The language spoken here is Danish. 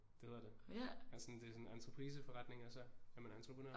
Det hedder det altså sådan det er sådan en entrepriseforretning og så er man entreprenør